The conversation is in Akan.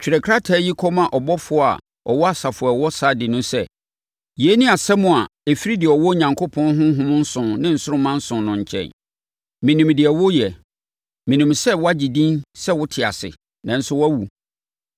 “Twerɛ krataa yi kɔma ɔbɔfoɔ ɔwɔ asafo a ɛwɔ Sardi no sɛ: Yei ne asɛm a ɛfiri deɛ ɔwɔ Onyankopɔn ahonhom nson ne nsoromma nson no nkyɛn. Menim deɛ woreyɛ. Menim sɛ woagye din sɛ wote ase, nanso woawu.